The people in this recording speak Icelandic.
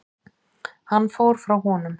Hann fór frá honum.